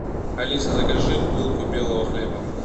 алиса закажи булку белого хлеба